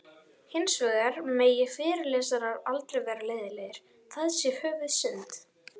Hins vegar megi fyrirlesarar aldrei vera leiðinlegir, það sé höfuðsynd.